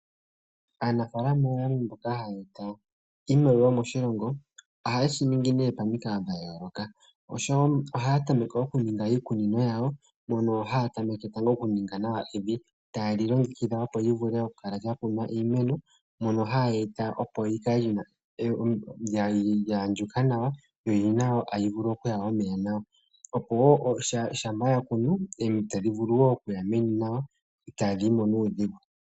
Aanafalama oyo yamwe mboka haya eta iimaliwa moshilongo nohaye shi ningi momikalo dha yoolokathana. Ohaya tameke okuninga iikunino yawo, mono haya tameke tango okuninga nawa evi taye li longekidha, opo mu vule okukunwa nawa iimeno, mono haye eta opo li kale lya andjuka nawa notali vulu okuya omeya nawa, opo wo shampa ya kunu omidhi tadhi vulu wo okuya mevi nawa itaadhi yi mo nuudhigu.